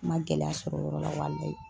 N ma gɛlɛya sɔrɔ o yɔrɔ la walahi